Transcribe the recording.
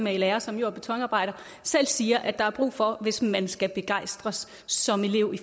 er i lære som jord og betonarbejder siger der er brug for hvis man skal begejstres som elev